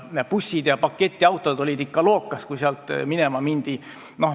Bussid ja pakiautod olid ikka lookas, kui sealt minema mindi.